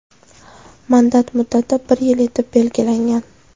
Mandat muddati bir yil etib belgilangan.